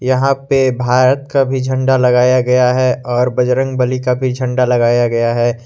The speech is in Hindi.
यहां पे भारत का भी झंडा लगाया गया है और बजरंगबली का भी झंडा लगाया गया है।